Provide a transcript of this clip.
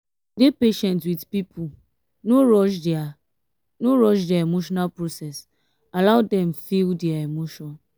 dey patient with pipo no rush their no rush their emotional process allow dem feel their emotion